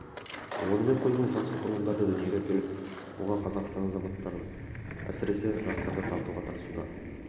онымен қоймай заңсыз құрылымдарды дүниеге әкеліп оған қазақстан азаматтарын әсіресе жастарды тартуға тырысуда